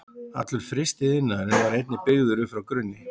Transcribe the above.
Allur frystiiðnaðurinn var einnig byggður upp frá grunni.